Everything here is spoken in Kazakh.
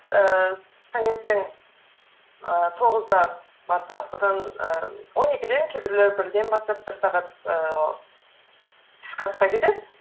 ііі таңертең ііі тоғызда барсақ содан ііі он екіден кейбіреулері бірден бастап бір сағат ііі түскі асқа кетеді